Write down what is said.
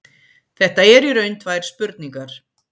Þetta eru í raun tvær spurningar.